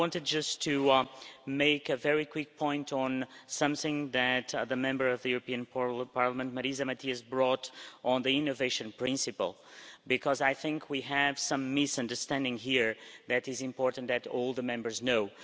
I wanted just to make a very quick point on something that the Member of the European Parliament Marisa Matias brought on the innovation principle, because I think we have some misunderstanding here that is important that all the Members know.